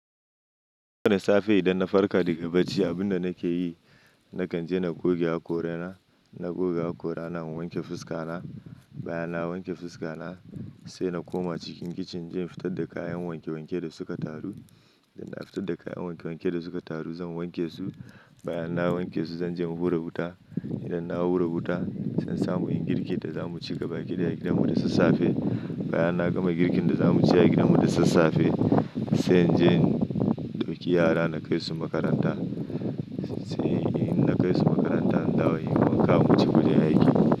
Daga safe idan na farka daga bacci, abinda nake yi, na kan je na goge hakorana. Na goge hakora, na wanke fuska na. Bayan na wanke fuska na sai na koma cikin kicin na je fitar da kayan wanke-wanke da suka taru. Idan na fitar da kayan wanke-wanke da suka taru zan wanke su. Bayan na wanke su zan je in hura wuta. Idan na hura wuta zan samu ingirkin da za mu ci gaba kidaya gidanmu da sassafe. Bayan na gama girkin da za mu ci a gidanmu da sassafe, sai in je in ɗauki yara na kai su makaranta. Sai in na kai su makaranta, in dawa sai na wuce wurin aiki.